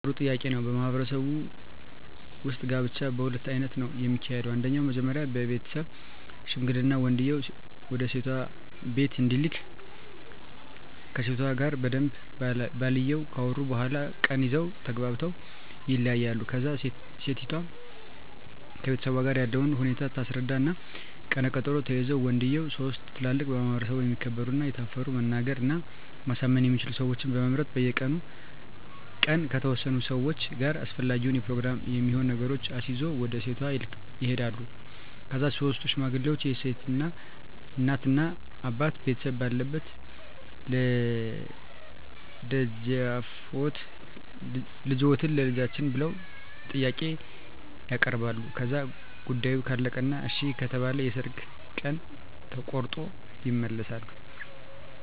ጥሩ ጥያቄ ነው በማህበረሰቡ ውጥ ጋብቻ በሁለት አይነት ነው ከሚካሄደው አንደኛው መጀመሪ ቤተሠብ ሽምግልና ወንድየው ወደሴቷ ቢቤት እንዲልክ ከሴቷ ጋር በደንብ ባልየው ካወሩ በኋላ ቀን ይዘው ተግባብተው ይለያያሉ ከዛ እሴቷም ከቤተሠቧ ጋር ያለውን ሁኔታ ታስረዳ እና ቀነ ቀጠሮ ተይዞ ወንድየው ሥስት ትላልቅ በማህበረሰቡ የተከበሩ እና የታፈሩ መናገር እና ማሳመን የሚችሉ ሠወችን በመምረጥ በቀኑ ቀን ከተወሠኑ ሠዋች ጋር አሰፈላጊውን የፕሮግራም የሚሆኑ ነገሮችን አሲዞ ወደ ሴቷ ይሄዳሉ ከዛ ሥስቱ ሽማግሌ የሴት እናት አባት ቤተሰብ ባለበት ልደፈጅዎትን ቸልጃችን ብለው ጥያቄ ያበርባሉ ከዛ ጉዳዮ ካለቀ እና እሺ ከተባለ የሠርግ ቀን ተቆሮጦ ይመለሣሉ